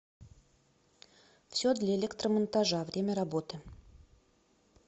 все для электромонтажа время работы